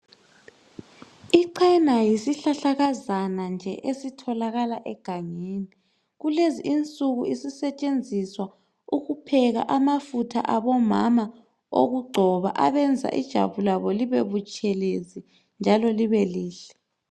Ichena yisihlahlakazana nje esitholakala egangeni kulezinsuku isisetshenziswa ukupheka amafutha abomama okugcoba abenza ijwabu labo libe butshelezi njalo libe lihle.